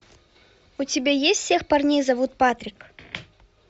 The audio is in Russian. у тебя есть всех парней зовут патрик